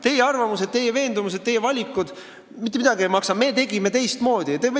Teie arvamused, teie veendumused, teie valikud mitte midagi ei maksa, me otsustasime teistmoodi!